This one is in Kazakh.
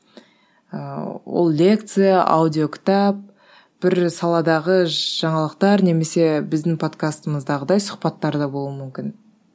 ыыы ол лекция аудиокітап бір саладағы жаңалықтар немесе біздің подкастымыздағыдай сұхбаттар да болуы мүмкін